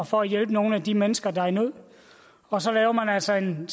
og for at hjælpe nogle af de mennesker der er i nød og så laver man altså en